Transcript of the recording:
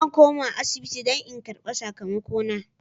Zan koma asibiti don in karbi sakamakona.